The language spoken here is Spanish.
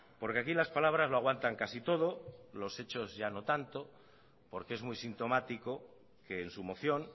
porque aquí las palabras lo aguantan casi todo los hechos ya no tanto porque es muy sintomático que en su moción